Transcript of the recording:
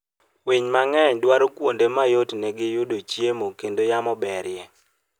Winy mang'eny dwaro kuonde ma yotnegi yudoe chiemo kendo yamo berie.